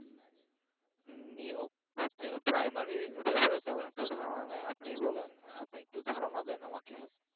নিয়োগ primary ব্যাপারে তেমন একটা ধারণা নাই আপনি বলেন একটু ধারণা দেন আমাকে